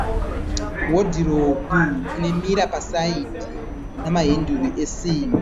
Hodhiropu ine mira pasaidhi namahenduru esimbi.